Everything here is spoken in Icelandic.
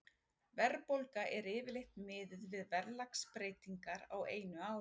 Verðbólga er yfirleitt miðuð við verðlagsbreytingar á einu ári.